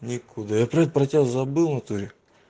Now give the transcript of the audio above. никуда я блять про тебя забыл внатуре